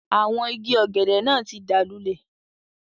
Àwọn igi ọ̀gẹ̀dẹ̀ náà tí dáa lúlẹ̀.